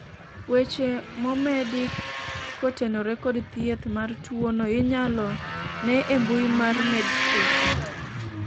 weche momedi kotenore kod thieth mar tuono inyalo ne e mbui mar medscape